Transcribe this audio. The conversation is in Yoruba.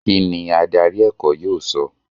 kín ni adarí ẹ̀kọ́ yóò sọ?